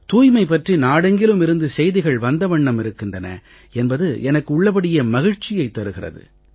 தூய்மை பற்றி நாடெங்கிலுமிருந்து செய்திகள் வந்த வண்ணம் இருக்கின்றன என்பது எனக்கு உள்ளபடியே மகிழ்ச்சியைத் தருகிறது